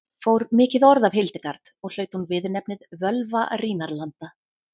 fór mikið orð af hildegard og hlaut hún viðurnefnið völva rínarlanda